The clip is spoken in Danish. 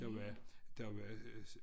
Der var der var øh